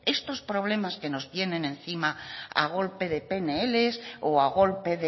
estos problemas que nos vienen encima a golpe de pnl o a golpe